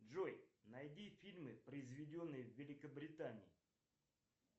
джой найди фильмы произведенные в великобритании